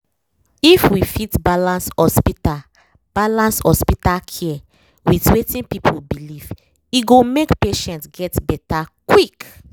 if we fit balance hospital balance hospital care with wetin people believe e go make patients get better quick